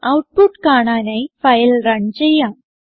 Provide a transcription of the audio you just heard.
output കാണാനായി file run ചെയ്യാം